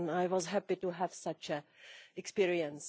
I was happy to have such an experience